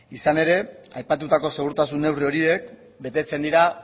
izan ere aipatutako segurtasuna neurri horiek betetzen dira